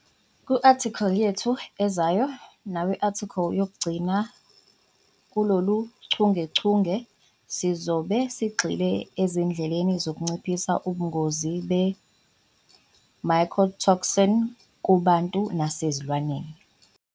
Ku-athikhili yethu ezayo naku-athikhili yokugcina kuloluchungechunge, sizobe sigxile ezindleleni zokunciphisa ubungozi be-mycotoxin kubantu nasezilwaneni.